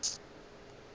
o tla re ge a